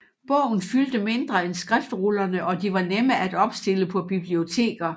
Bogen fyldte mindre end skriftrullerne og de var nemmere at opstille på biblioteker